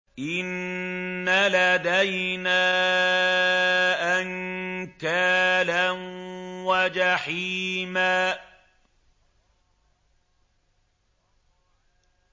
إِنَّ لَدَيْنَا أَنكَالًا وَجَحِيمًا